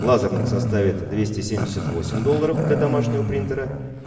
лазерных составит двести семьдесят восемь долларов для домашнего принтера